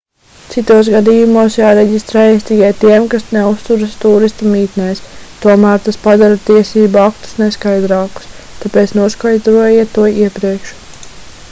citos gadījumos jāreģistrējas tikai tiem kas neuzturas tūristu mītnēs tomēr tas padara tiesību aktus neskaidrākus tāpēc noskaidrojiet to iepriekš